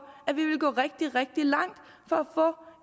at vi ville gå rigtig rigtig langt for